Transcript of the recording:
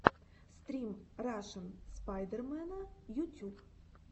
стрим рашн спайдермена ютюб